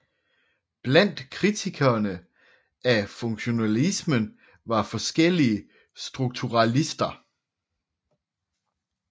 Blandt kritikerne af funktionalismen var forskellige strukturalister